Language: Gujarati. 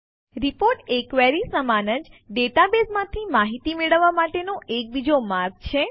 રીપોર્ટ એ ક્વેરી સમાન જ ડેટાબેઝમાંથી માહિતી મેળવવા માટેનો બીજો એક માર્ગ છે